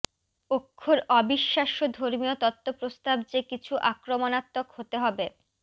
অক্ষর অবিশ্বাস্য ধর্মীয় তত্ত্ব প্রস্তাব যে কিছু আক্রমণাত্মক হতে হবে